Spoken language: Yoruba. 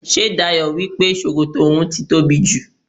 Ṣé Dayọ̀ wípé sókótó oun ti tóbi jù?